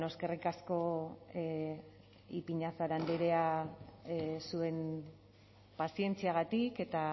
eskerrik asko ipiñazar andrea zuen pazientziagatik eta